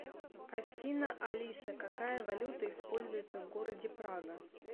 афина алиса какая валюта используется в городе прага